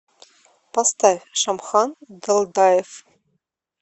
поставь шамхан далдаев